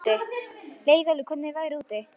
Leiðólfur, hvernig er veðrið úti?